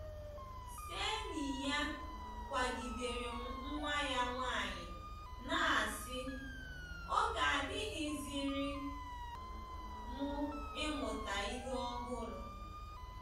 Kseniya gwagidere nwa ya nwanyị na asị, “ Oge adịghịziri m ịmụta ihe ọhụrụ. ”